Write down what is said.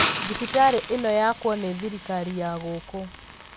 Thibitarĩnĩyakwo ni thirikari ya gũkũ.